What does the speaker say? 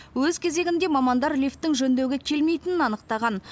өз кезегінде мамандар лифттің жөндеуге келмейтінін анықтаған